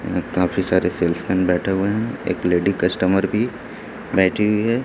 यहां काफी सारे सेल्समैन बैठे हुए हैं एक लेडी कस्टमर भी बैठी हुई है।